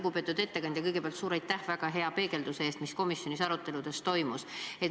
Lugupeetud ettekandja, kõigepealt suur aitäh väga hea peegelduse eest, mis komisjonis aruteludel toimus!